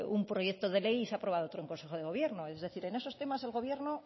un proyecto de ley y se ha aprobado otro en consejo de gobierno es decir en esos temas el gobierno